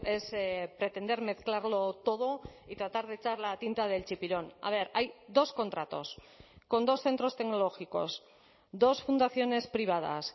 es pretender mezclarlo todo y tratar de echar la tinta del chipirón a ver hay dos contratos con dos centros tecnológicos dos fundaciones privadas